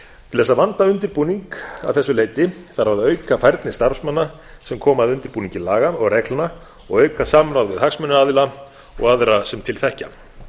til þess að vanda undirbúning að þessu leyti þarf að auka færni starfsmanna sem koma að undirbúningi laga og reglna og auka samráð við hagsmunaðila og aðra sem til þekkja